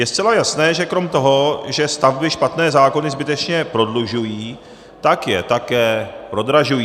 Je zcela jasné, že krom toho, že stavby špatné zákony zbytečně prodlužují, tak je také prodražují.